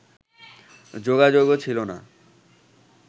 যোগাযোগও ছিল না